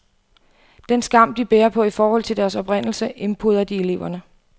Den skam, de bærer på i forhold til deres oprindelse, indpoder de eleverne.